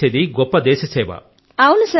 ఆయన చేసేది గొప్ప సేవ